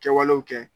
Kɛwalew kɛ